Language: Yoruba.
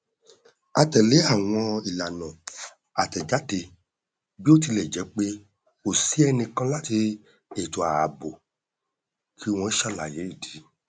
a tẹlé àwọn ìlànà àtẹjáde bí ó tilẹ jẹ pé kò sí ẹnìkan láti ètò ààbò kí wọn ṣàlàyé ìdí